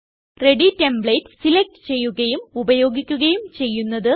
ready templates select ചെയ്യുകയും ഉപയോഗിക്കുകയും ചെയ്യുന്നത്